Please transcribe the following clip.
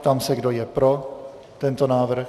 Ptám se, kdo je pro tento návrh.